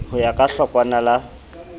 ho ya ka hlokwana la